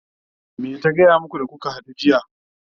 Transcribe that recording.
me ta gaya maku da kuka hadu jiya?